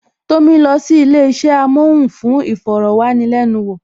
Tomi lọ sí ilé isẹ amohun fún iforowanilenuwo